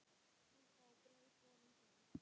Súpa og brauð borin fram.